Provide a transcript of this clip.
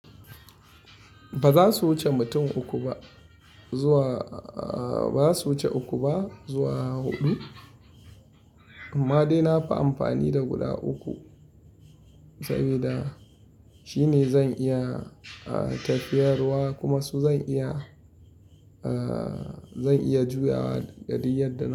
Ba za su wuce mutum uku ba, zuwa ba za su wuce uku ba zuwa huɗu. Amma dai na fi amfani da guda uku, saboda shine zan iya tafiyarwa kuma su zan iya, zan iya juyawa ga duk yadda na.